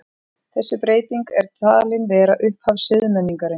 Þessi breyting er talin vera upphaf siðmenningarinnar.